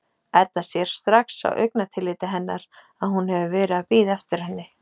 Edda sér strax á augnatilliti hennar að hún hefur verið að bíða eftir henni.